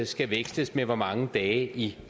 skal veksles med hvor mange dage i